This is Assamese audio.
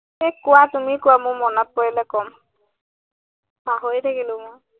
এৰ কোৱা, তুমি কোৱা, মই মনত পৰিলে কম। পাহৰি থাকিলো মই।